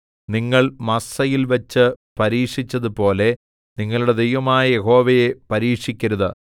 നിങ്ങൾ മസ്സയിൽവെച്ച് പരീക്ഷിച്ചതുപോലെ നിങ്ങളുടെ ദൈവമായ യഹോവയെ പരീക്ഷിക്കരുത്